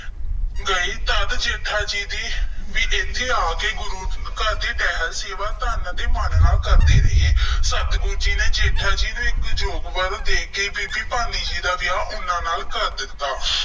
ਗਏ ਤਦ ਜੇਠਾ ਜੀ ਵੀ ਇੱਥੇ ਆ ਕੇ ਗੁਰੂ ਘਰ ਦੀ ਅੱਟਲ ਸੇਵਾ ਤਨ ਅਤੇ ਮਨ ਨਾਲ ਕਰਦੇ ਰਹੇ। ਸਤਿਗੁਰੂ ਜੀ ਨੇ ਜੇਠਾ ਨੂੰ ਇੱਕ ਯੋਗ ਵਰ ਦੇਖ ਕੇ ਬੀਬੀ ਭਾਨੀ ਜੀ ਦਾ ਵਿਆਹ ਉਹਨਾ ਨਾਲ ਕਰ ਦਿੱਤਾ।